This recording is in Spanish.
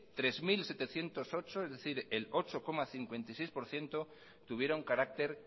tres mil setecientos ocho es decir el ocho coma cincuenta y seis por ciento tuvieron carácter